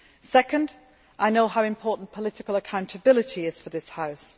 Second, I know how important political accountability is for this House.